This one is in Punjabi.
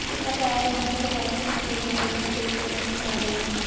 ਸਰਕਾਰ ਇਨ੍ਹਾਂ ਪ੍ਰਵਾਸੀ ਮਜ਼ਦੂਰਾਂ ਲਈ ਵੀ ਕਈ ਕਦਮ ਉਠਾ ਰਹੀ ਹੈ